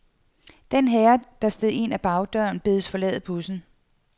Den herre, der steg ind ad bagdøren, bedes forlade bussen.